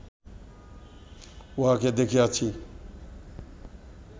উহাকে দেখিয়াছি